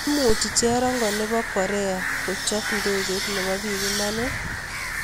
Imuchii cherongoo neboo koreak kochopee ndekeit neboo biik Iman ooh?